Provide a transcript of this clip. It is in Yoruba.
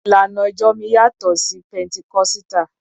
Ìlànà ìjọ mi yàtọ̀ sí Pẹntikọ́sítà.